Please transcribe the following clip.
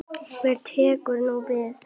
Hvað tekur nú við?